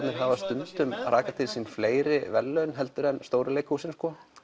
hafa stundum rakað til sín fleiri verðlaun heldur en stóru leikhúsin